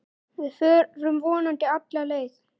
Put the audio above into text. Við förum vonandi alla leið